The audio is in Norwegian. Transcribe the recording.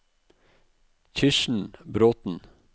Kirsten Bråten